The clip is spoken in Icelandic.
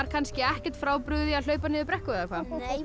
kannski ekkert frábrugðið því að hlaupa niður brekku